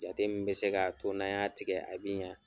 Jate min bɛ se k'a to n'an y'a tigɛ a bi ɲa